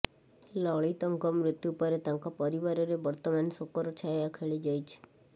ଲଳିତଙ୍କ ମୃତ୍ୟୁପରେ ତାଙ୍କ ପରିବାରରେ ବର୍ତ୍ତମାନ ଶୋକର ଛାୟା ଖେଳିଯାଇଛି